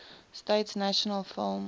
states national film